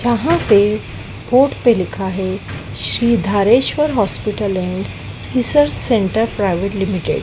वहां पे बोर्ड पे लिखा है Shri Dhareshwar hospital and research centre private limited --